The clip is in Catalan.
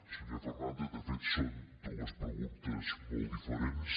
senyor fernàndez de fet són dues preguntes molt diferents